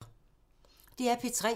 DR P3